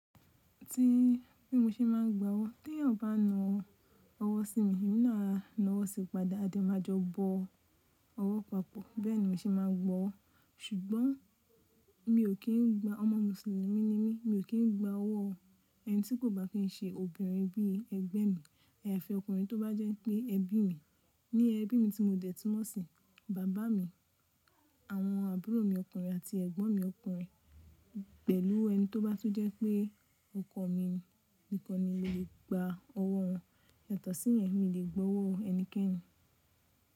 Tí bí mo ṣe máa ń gba owó, tí ẹ̀yin ọba ń na ọwọ́ sí mi, èmi náà á na ọwọ́ sí padà. Adé máa jọ bọ ọwọ́ papọ̀, bẹ́ẹ̀ ni mi ò ṣe máa gba owó. Ṣùgbọ́n mi ò kí ń gba ọmọ Mùsùlùmí ní mi, mi ò kí ń gba ọwọ́ ẹni tí kò bá fi ṣe obìnrin bí ẹgbẹ́ mi àti ọkùnrin tó bá jẹ́ pé ẹbí mi. Ní ẹbí mi tí mo dẹ̀ tun mọ sí, bàbá mi, àwọn àbúrò mi ọkùnrin àti ẹ̀gbọ́n mi ọkùnrin pẹ̀lú ẹni tó bá tún jẹ́ pé ọkọ mi nìkan ni mo lè gba ọwọ́ wọn. Ètọ̀ sí yẹn, mi ò lè gba owó ẹnikẹ́ni.